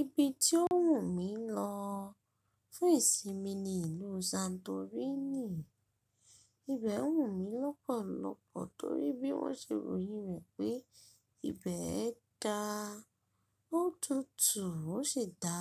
Ibi tí ó wù mí lọ fún ìsinmi ni ìlú Santorini. Ibẹ̀ wù mí lọ́pọ̀lọpọ̀ torí bí wọ́n ṣe ròyìn rẹ̀ pé ibẹ̀ dá ó tutù ó sì dá